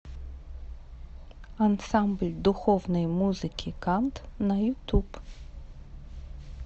ансамбль духовной музыки кант на ютуб